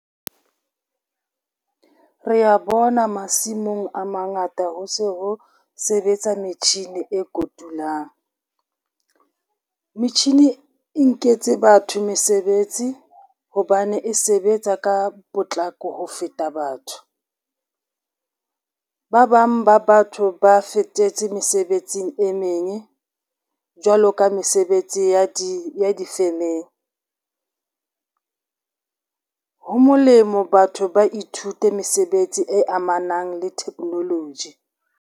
Re a bona masimong a mangata ho se ho sebetsa metjhini e kotulang. Metjhini e nketse batho mesebetsi hobane e sebetsa ka potlako ho feta batho. Ba bang ba batho ba fetetse mesebetsing e meng, jwalo ka mesebetsi ya difemeng. Ho molemo batho ba ithute mesebetsi e amanang le technology.